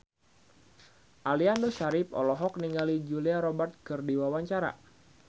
Aliando Syarif olohok ningali Julia Robert keur diwawancara